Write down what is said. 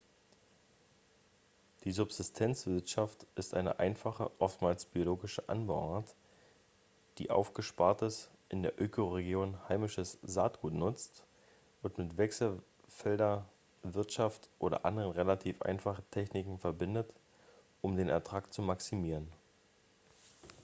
die subsistenzwirtschaft ist eine einfache oftmals biologische anbauart die aufgespartes in der ökoregion heimisches saatgut nutzt und mit wechselfelderwirtschaft oder anderen relativ einfachen techniken verbindet um den ertrag zu maximieren